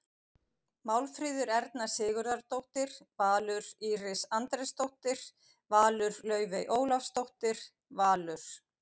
Málfríður Erna Sigurðardóttir- Valur Íris Andrésdóttir- Valur Laufey Ólafsdóttir- Valur